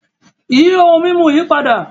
Yí ohun mimú yí pádà!